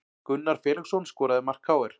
Gunnar Felixson skoraði mark KR